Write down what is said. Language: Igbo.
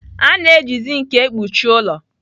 A na-eji zinc ekpuchi ụlọ.